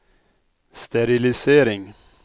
sterilisering